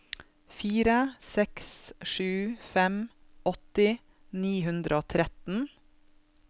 fire seks sju fem åtti ni hundre og tretten